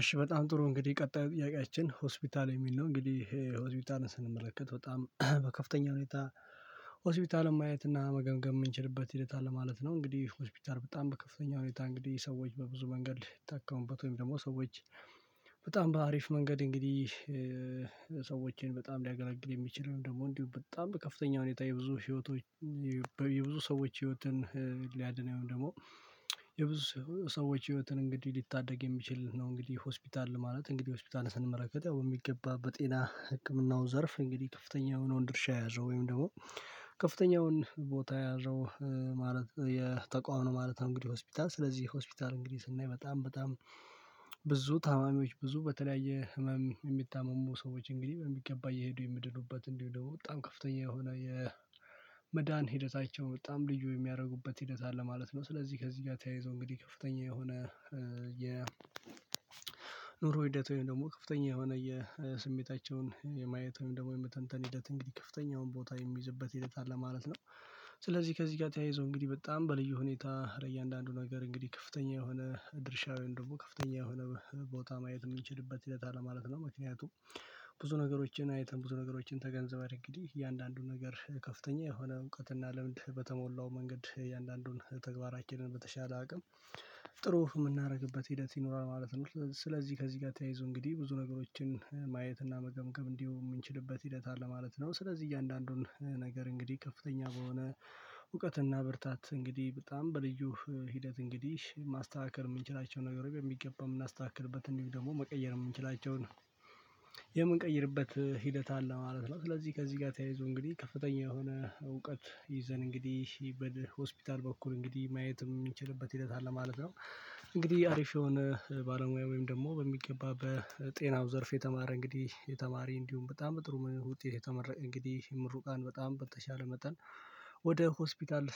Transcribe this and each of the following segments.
እሺ በጣም ጥሩ እንግዲህ ቀጣይ ጥያቄያችን ሆስፒታል የሚል ነው እንግዲህ ይሄ ሆስፒታልን ስንመለከት በጣም በከፍተኛ ሁኔታ ሆስፒታልን ማየት እና መገምገም የምንችልበት ሂደት አለ ማለት ነው። እንግዲህ ሆስፒታል በጣም በከፍተኛ ሁኔታ እንግዲህ ሰዎች በብዙ መንገድ ይታከሙበት ወይም ደግሞ ሰዎች በጣም በአሪፍ መንገድ እንግዲህ ሰዎችን በጣም ሊያገላግል የሚችል ነው። ደግሞ እንዲሁ በጣም በከፍተኛ ሁኔታ የብዙ ህይወቶች የብዙ ሰዎች ህይወትን ሊያድን ወይም ደግሞ የብዙ ሰዎች ህይወትን እንግዲህ ሊታደግ የሚችል ነው። እንግዲህ ሆስፒታል ማለት እንግዲህ ሆስፒታልን ስንመረከት ያው የሚገባ በጤና ህክምናው ዘርፍ እንግዲህ ከፍተኛ የሆነውን ድርሻ ያዘው ወይም ደግሞ ከፍተኛውን ቦታ ያዘው። ማለት የተቃዋሚ ማለት እንግዲህ ሆስፒታል ስለዚህ ሆስፒታል እንግዲህ ስናይ በጣም በጣም ብዙ ታማሚዎች ብዙ በተለያየ ህመም የሚታመሙ ሰዎች እንግዲህ በሚገባ እሄዱ የሚድኑበት እንዲሁ ደግሞ በጣም ከፍተኛ የሆነ የመዳን ሂደታቸው በጣም ልዩ የሚያደርጉበት ሂደት አለ ማለት ነው። ስለዚህ ከዚህ ጋር ተያይዞ እንግዲህ ከፍተኛ የሆነ የ ኑሮ ሂደት ወይም ደግሞ ከፍተኛ የሆነ የስሜታቸውን የማየት ወይም ደግሞ የመተንተን ሂደት እንግዲህ ከፍተኛውን ቦታ የሚይዝበት ሂደት አለ ማለት ነው። ስለዚህ ከዚህ ጋር ተያይዞ እንግዲህ በጣም በልዩ ሁኔታ ለእያንዳንዱ ነገር እንግዲህ ከፍተኛ የሆነ ድርሻውያን ደግሞ ከፍተኛ የሆነ ቦታ ማየት የምንችልበት ይላል ማለት ነው። ምክንያቱም ብዙ ነገሮችን አይተን ብዙ ነገሮችን ተገንዘብ አንግዲህ እያንዳንዱን ነገር ከፍተኛ የሆነ እውቀትና ለምን በተሞላው መንገድ እያንዳንዱን ተግባራችንን በተሻለ አቅም ጥሩ የምናደርግበት ሂደት ይኖራል ማለት ነው። ስለዚህ ከዚህ ጋር ተያይዞ እንግዲህ ብዙ ነገሮችን ማየትና መገምገም እንዲሁ የምንችልበት ሂደት አለ ማለት ነው። ስለዚህ እያንዳንዱን ነገር እንግዲህ ከፍተኛ በሆነ እውቀትና ብርታት እንግዲህ በጣም በልዩ ሂደት እንግዲህ ማስተካከል የምንችላቸውን ነገሮች በሚገባ የምናስተካክልበት እንዲሁ ደግሞ መቀየር የምንችላቸውን የምንቀይርበት ሂደት አለ ማለት ነው። ስለዚህ ከዚህ ጋር ተያይዞ እንግዲህ ከፍተኛ የሆነ እውቀት ይዘን እንግዲህ ወደ ሆስፒታል በኩል እንግዲህ ማየት የምንችልበት ሂደት አለ ማለት ነው። እንግዲህ አሪፍ የሆነ ባለሙያ ወይም ደግሞ በሚገባ በጤናው ዘርፍ የተማረ እንግዲህ የተማሪ እንዲሁም በጣም ጥሩ ዉጤት የተመረቀ እንግዲህ ምሩቃን በጣም በተቻለ መጠን ወደ ሆስፒታል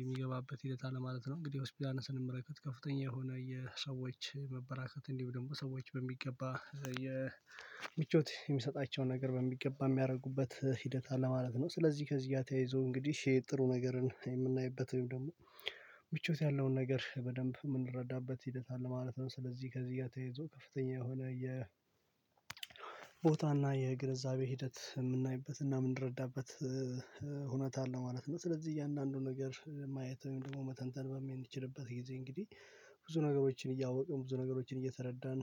የሚገባበት ሂደት አለ ማለት ነው። እንግዲህ ሆስፒታልን ስንመለከት ከፍተኛ የሆነ የሰዎች መበራከት እንዲሁ ደግሞ ሰዎች በሚገባ የምቾት የሚሰጣቸውን ነገር በሚገባ የሚያደርጉበት ሂደት አለ ማለት ነው። ስለዚህ ከዚያ ተያይዞ እንግዲህ ጥሩ ነገርን የምናይበት ወይም ደግሞ ምቾት ያለውን ነገር በደንብ የምንረዳበት ሂደት አለ ማለት ነው። ስለዚህ ከዚህ ጋር ተይዞ ከፍተኛ የሆነ የ ቦታና የግንዛቤ ሂደት የምናይበትና የምንረዳበት እውነት አለ ማለት ነው። ስለዚህ እያንዳንዱ ነገር ማየት ወይም ደግሞ መተንተን በሚችልበት ጊዜ እንግዲህ ብዙ ነገሮችን እያወቀው ብዙ ነገሮችን እየተረዳን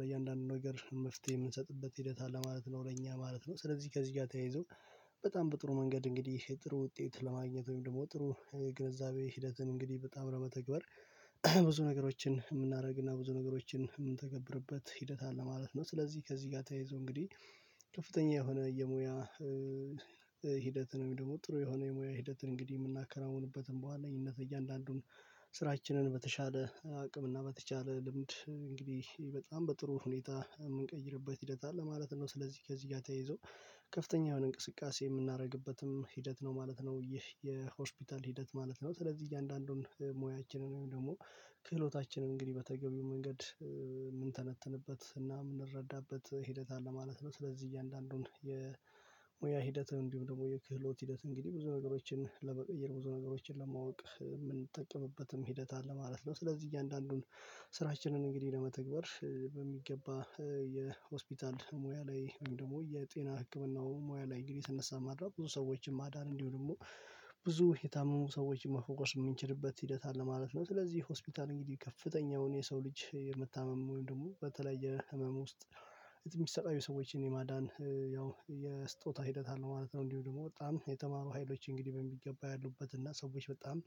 ለእያንዳንዱ ነገር መፍትሄ የምንሰጥበት ሂደት አለ ማለት ነው። ለኛ ማለት ነው። ስለዚህ ከዚህ ጋር ተያይዞ በጣም በጥሩ መንገድ እንግዲህ የጥሩ ውጤት ለማግኘት ወይም ደግሞ ጥሩ የግንዛቤ ሂደትን እንግዲህ በጣም በተግባር ብዙ ነገሮችን የምናደርግና ብዙ ነገሮችን የምንተገብርበት ሂደት አለ ማለት ነው። ስለዚህ ከዚህ ጋር ተያይዞ እንግዲህ ከፍተኛ የሆነ የሙያ ሂደትን ደግሞ ጥሩ የሆነ የሙያ ሂደትን እንግዲህ የምናከራውንበትም በዋነኝነት እያንዳንዱን ስራችንን በተሻለ አቅም እና በተቻለ ልምድ እንግዲህ በጣም በጥሩ ሁኔታ የምንቀይርበት ሂደት አለ ማለት ነው። ስለዚህ ከዚህ ጋር ተይዞ ከፍተኛ የሆነ እንቅስቃሴ የምናደርግበትም ሂደት ነው ማለት ነው ይህ የሆስፒታል ሂደት ማለት ነው። ስለዚህ እያንዳንዱን ሙያችንን ወይም ደግሞ ክህሎታችንን እንግዲህ በተገቢው መንገድ የምንተነትንበት እና የምንረዳበት ሂደት አለ ማለት ነው። ስለዚህ እያንዳንዱን የሙያ ሂደት እንዲሁም ደግሞ የክህሎት ሂደት እንግዲህ ብዙ ነገሮችን ለበቀየር ብዙ ነገሮችን ለማወቅ ሂደት አለ ማለት ነው። ስለዚህ እያንዳንዱን ስራችንን እንግዲህ ለመተግበር በሚገባ የሆስፒታል ሙያ ላይ ወይም ደግሞ የጤና ህክምናው ሙያ ላይ እንግዲህ የተነሳ ማድረግ ብዙ ሰዎችን ማዳን እንዲሁ ደግሞ ብዙ የታመሙ ሰዎችን መፎወስ የምንችልበት ሂደት አለ ማለት ነው። ስለዚህ ሆስፒታል እንግዲህ ከፍተኛውን የሰው ልጅ የምታመሙን ደግሞ በተለየ የህመም ውስጥ የሚሰቃዩ ሰዎችን የማዳን ያው የስጦታ ሂደት አለ ማለት ነው። እንዲሁ ደግሞ በጣም የተማሩ ሀይሎች እንግዲህ በሚገባ ያሉበት እና ሰዎች በጣም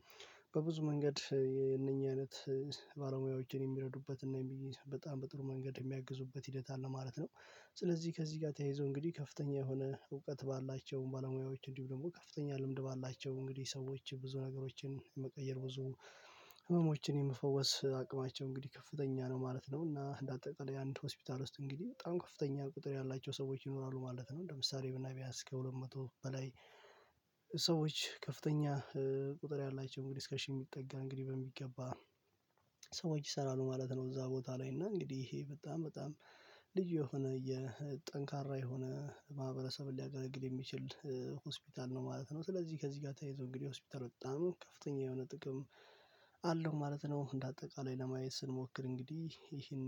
በብዙ መንገድ የእነኚህ አይነት ባለሙያዎችን የሚረዱበት እና በጣም በጥሩ መንገድ የሚያግዙበት ሂደት አለ ማለት ነው። ስለዚህ ከዚህ ጋር ተያይዞ እንግዲህ ከፍተኛ የሆነ እውቀት ባላቸው ባለሙያዎች እንዲሁ ደግሞ ከፍተኛ ልምድ ባላቸው እንግዲህ ሰዎች ብዙ ነገሮችን የመቀየር ብዙ ህመሞችን የምፈውስ አቅማቸው እንግዲህ ከፍተኛ ነው ማለት ነው። እና እንዳጠላይ አንድ ሆስፒታል ውስጥ እንግዲህ በጣም ከፍተኛ ቁጥር ያላቸው ሰዎች ይኖራሉ ማለት ነው። ለምሳሌ ብናይ እስከ ሁለት መቶ በላይ ሰዎች ከፍተኛ ቁጥር ያላቸው እንግዲህ እስከ ሽ የሚጠጋ እንግዲህ በሚገባ ሰዎች ይሰራሉ ማለት ነው። እዛ ቦታ ላይ እና እንግዲህ ይሄ በጣም በጣም ልዩ የሆነ የጠንካራ የሆነ ማህበረሰብን ሊያገለግል የሚችል ሆስፒታል ነው ማለት ነው። ስለዚህ ከዚህ ጋር ተይዞ እንግዲህ ሆስፒታል በጣም ከፍተኛ የሆነ ጥቅም አለው ማለት ነው። እንደ አጠቃላይ ለማየት ስንሞክር እንግዲህ ይሄን